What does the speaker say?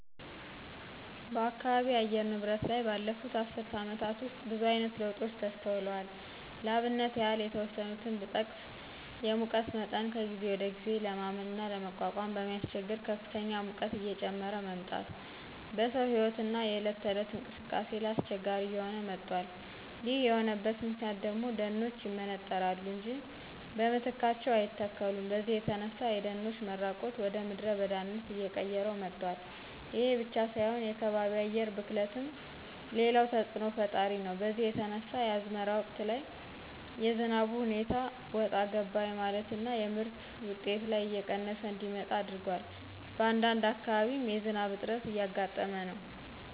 በአካባቢ የአየር ንብረት ላይ ባለፉት አስር አመታት ውስጥ ብዙአይነት ለውጦች ተስተውለዋል ለአብነት ያህል የተወሰኑትን ብጠቅስ የሙቀት መጠን ከጊዜ ወደጊዜ ለማመንና ለመቋቋም በሚያስቸግር ከፍተኛ ሙቀት እየጨመረ መምጣት በሰው ህይወትና የእለት ተእለት እንቅስቃሴ ላይ አስቸጋሪ እየሆነ መጧል ይሄ የሆነበት ምክንያት ደግሞ ደኖች ይመነጠራሉ እንጃ በምትካቸው አይተከሉም በዚህ የተነሳ የደኖች መራቆት ወደምድረ በዳነት አየቀየረው መጧል። ይሄ ብቻ ሳይሆን የከባቢ አየር ብክለትም ሌላው ተጽእኖ ፈጣሪ ነው በዚህ የተነሳ የአዝመራ ወቅት ላይ የዝናቡ ሁኔታ ወጣ ገባ የማለትና የምርት ውጤት ላይ እየቀነሰ እንዲመጣ አድርጓል በአንዳንድ አካባቢም የዝናብ እጥረት እያጋጠመ ነው።